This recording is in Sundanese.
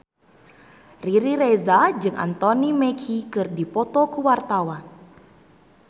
Riri Reza jeung Anthony Mackie keur dipoto ku wartawan